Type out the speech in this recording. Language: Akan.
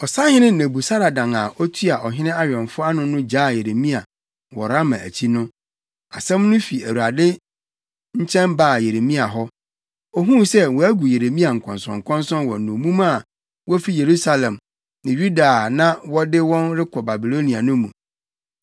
Ɔsahene Nebusaradan a otua ɔhene awɛmfo ano no gyaa Yeremia wɔ Rama akyi no, asɛm no fi Awurade nkyɛn baa Yeremia hɔ. Ohuu sɛ wɔagu Yeremia nkɔnsɔnkɔnsɔn wɔ nnommum a wofi Yerusalem ne Yuda a na wɔde wɔn rekɔ Babilonia no mu.